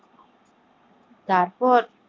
তারপর